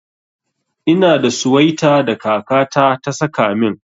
Ina da suwaita da kaka ta ta saka min.